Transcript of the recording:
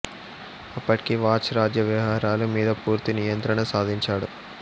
అప్పటికి చాచ్ రాజ్య వ్యవహారాల మీద పూర్తి నియంత్రణ సాధించాడు